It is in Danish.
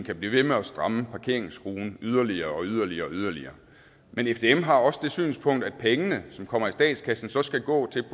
kan blive ved med at stramme parkeringsskruen yderligere og yderligere yderligere men fdm har også det synspunkt at pengene som kommer i statskassen så skal gå til